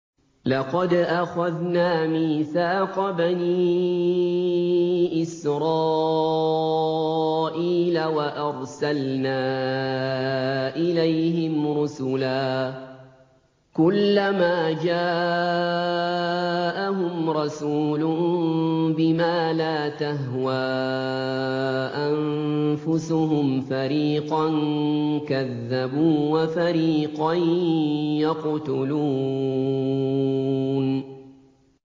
لَقَدْ أَخَذْنَا مِيثَاقَ بَنِي إِسْرَائِيلَ وَأَرْسَلْنَا إِلَيْهِمْ رُسُلًا ۖ كُلَّمَا جَاءَهُمْ رَسُولٌ بِمَا لَا تَهْوَىٰ أَنفُسُهُمْ فَرِيقًا كَذَّبُوا وَفَرِيقًا يَقْتُلُونَ